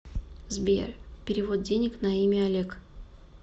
сбер перевод денег на имя олег